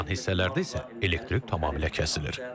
Qalan hissələrdə isə elektrik tamamilə kəsilir.